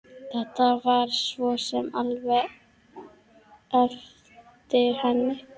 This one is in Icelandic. Þetta var svo sem alveg eftir henni.